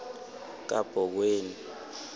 kabhoweni